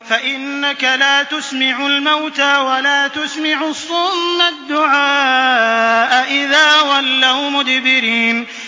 فَإِنَّكَ لَا تُسْمِعُ الْمَوْتَىٰ وَلَا تُسْمِعُ الصُّمَّ الدُّعَاءَ إِذَا وَلَّوْا مُدْبِرِينَ